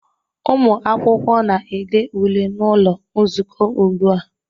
Ụmụ akwụkwọ na-ede ule n'ụlọ nzukọ ugbu a